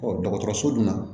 Ɔ dɔgɔtɔrɔso dun na